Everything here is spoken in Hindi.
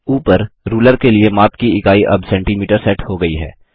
ऊपर रूलर के लिए माप की इकाई अब सेंटीमीटर सेट हो गई है